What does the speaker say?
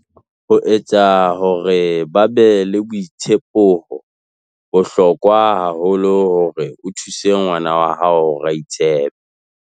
Ho etsa hore ba be le boitshepoHo bohlokwa haholo hore o thuse ngwana wa hao hore a itshepe.